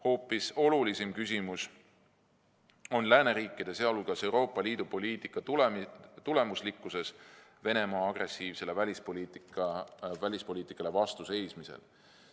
Hoopis olulisem küsimus on lääneriikide, sh Euroopa Liidu poliitika tulemuslikkus Venemaa agressiivsele välispoliitikale vastu seismisel.